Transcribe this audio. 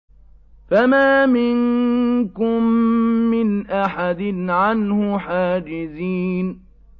فَمَا مِنكُم مِّنْ أَحَدٍ عَنْهُ حَاجِزِينَ